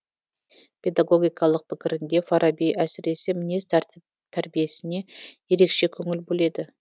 педагогикалық пікірінде фараби әсіресе мінез тәрбиесіне ерекше көңіл бөледі